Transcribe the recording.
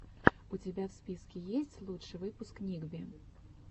у тебя в списке есть лучший выпуск ник би